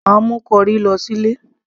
mà á mú corrie lọ sí ilé